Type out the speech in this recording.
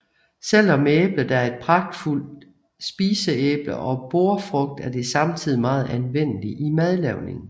Selvom æblet er et pragtfuld spiseæble og bordfrugt er det samtidig meget anvendelig i madlavningen